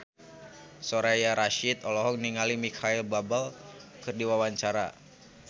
Soraya Rasyid olohok ningali Micheal Bubble keur diwawancara